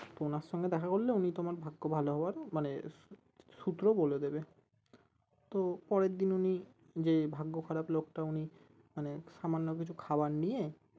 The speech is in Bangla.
তো ওনার সঙ্গে দেখা করলে উনি তোমার ভাগ্য ভালো হওয়ার মানে সূত্র বলে দেবে তো পরের দিন উনি যে ভাগ্য খারাপ লোকটা উনি মানে সামান্য কিছু খাবার নিয়ে